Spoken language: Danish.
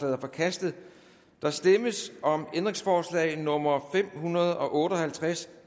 er forkastet der stemmes om ændringsforslag nummer fem hundrede og otte og halvtreds